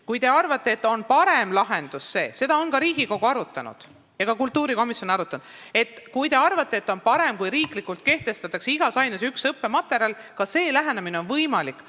Kui te arvate, et parem lahendus on see – ja seda on ka Riigikogu ja kultuurikomisjon arutanud –, et igas aines kehtestatakse riiklikult vaid üks õppematerjal, siis ka see lähenemine on võimalik.